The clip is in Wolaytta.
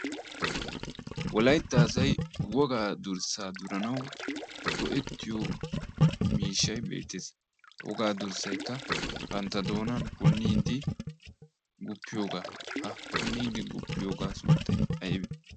wolaytta asay wogaa durssaa duranawu go'ettiyo miishshai beetees ha wogaa durssaykka bantta doonan punniiddi go''etiyoogaa ha punniiddi go''eiyoogaa sunttay aybe